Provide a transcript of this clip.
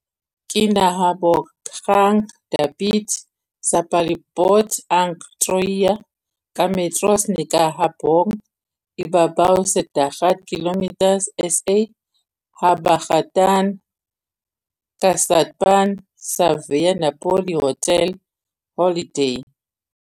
Kinahabogang dapit sa palibot ang Troia, ka metros ni kahaboga ibabaw sa dagat, km sa habagatan-kasadpan sa Via Napoli Hotel Holiday.